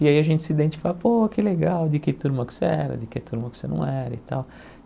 E aí a gente se identifica, pô, que legal, de que turma que você era, de que turma que você não era e tal.